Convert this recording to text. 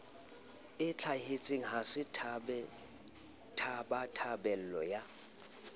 ntlhahetseng ha se tabatabelo ya